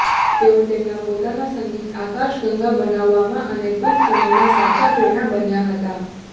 તેઓ તેમના પોતાના સંગીત આકાશગંગા બનાવવામાં અને ટૂંક સમયમાં સાચા પ્રેરણા બનાયા હતા